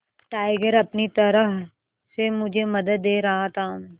tiger अपनी तरह से मुझे मदद दे रहा था